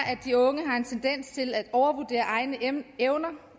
de unge har en tendens til at overvurdere egne evner